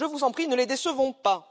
Je vous en prie, ne les décevons pas.